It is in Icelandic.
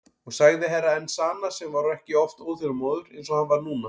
Og sagði Herra Enzana sem var ekki oft óþolinmóður eins og hann var núna.